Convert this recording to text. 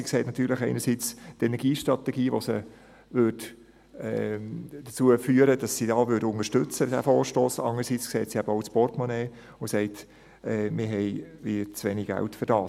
Sie sieht natürlich einerseits die Energiestrategie, die sie dazu führt, dass sie den Vorstoss hier unterstützen würde, andererseits sieht sie aber auch das Portemonnaie und sagt: «Wir haben hier zu wenig Geld dafür.»